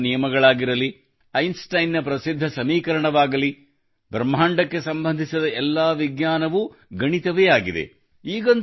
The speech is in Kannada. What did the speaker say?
ನ್ಯೂಟನ್ ನ ನಿಯಮಗಳಾಗಿರಲಿ ಐನ್ಸ್ಟೈನ್ನ ಪ್ರಸಿದ್ಧ ಸಮೀಕರಣವಾಗಲಿ ಬ್ರಹ್ಮಾಂಡಕ್ಕೆ ಸಂಬಂಧಿಸಿದ ಎಲ್ಲಾ ವಿಜ್ಞಾನವೂ ಗಣಿತವೇ ಆಗಿದೆ